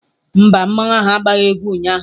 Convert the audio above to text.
Mba, mmanwu ahu agbaghị egwu ụnyaahụ